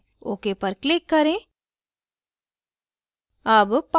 ok पर click करें